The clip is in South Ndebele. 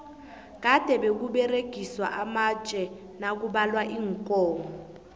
kade bekuberegiswa amatje nakubalwa iinkomo